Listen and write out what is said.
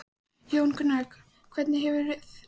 Jón Gunnar, hvernig hefur til tekist?